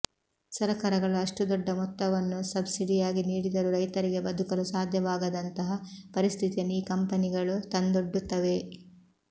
ಸರಕಾರಗಳು ಅಷ್ಟು ದೊಡ್ಡ ಮೊತ್ತವನ್ನು ಸಬ್ಸಿಡಿಯಾಗಿ ನೀಡಿದರೂ ರೈತರಿಗೆ ಬದುಕಲು ಸಾಧ್ಯವಾಗದಂಥಹ ಪರಿಸ್ಥಿತಿಯನ್ನು ಈ ಕಂಪನಿಗಳು ತಂದೊಡ್ಡುತ್ತವೆ